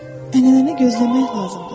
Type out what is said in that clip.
Ənənəni gözləmək lazımdır.